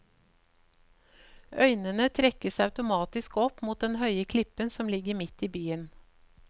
Øynene trekkes automatisk opp mot den høye klippen som ligger mitt i byen.